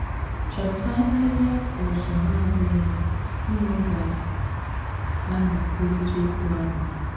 Chọta ebe ụ̀zụ̀ na - adịghị unu ga - anọ kwurịta okwu ahụ.